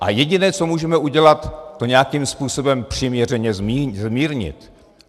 A jediné, co můžeme udělat, to nějakým způsobem přiměřeně zmírnit.